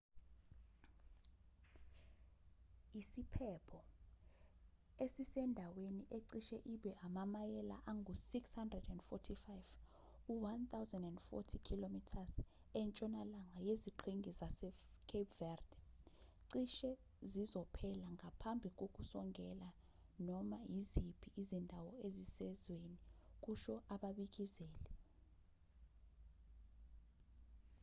isiphepho esisendaweni ecishe ibe amamayela angu-645 1040 km entshonalanga yeziqhingi zasecape verde cishe sizophela ngaphambi kokusongela noma iziphi izindawo ezisezweni kusho ababikezeli